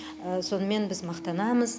сонымен біз мақтанамыз